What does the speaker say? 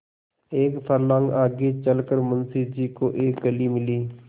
एक फर्लांग आगे चल कर मुंशी जी को एक गली मिली